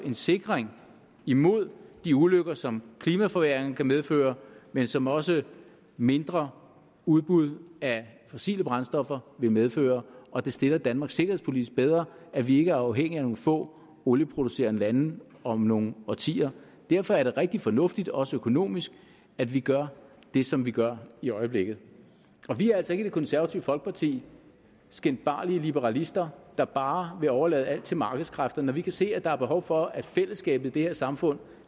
en sikring imod de ulykker som klimaforværringen kan medføre men som også mindre udbud af fossile brændstoffer vil medføre og det stiller danmark sikkerhedspolitisk bedre at vi ikke er afhængige af nogle få olieproducerende lande om nogle årtier derfor er det rigtig fornuftigt også økonomisk at vi gør det som vi gør i øjeblikket vi er altså ikke i det konservative folkeparti skinbarlige liberalister der bare vil overlade alt til markedskræfterne når vi kan se at der er behov for at fællesskabet i det her samfund